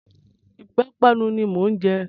Ìpapánu ni mò ń jẹ.